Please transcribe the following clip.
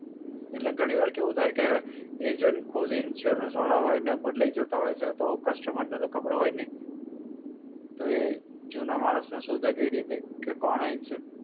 એટલે ઘણી વાર કેવું થાય કે, agent ખુદ insurance વાળા હોય ને બદલાઈ જતા હોય છે અને customer ને તો ખબર હોય ની, તો એ જુના માણસ ને શોધે કઈ રીતે કે કોણે insurance